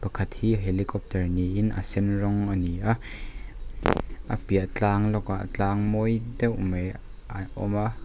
pakhat hi helicopter niin a sen rawng a ni a a piah tlang lawkah tlang mawi deuh mai a awm a.